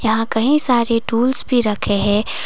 यहां कहीं सारे टूल्स भी रखे है।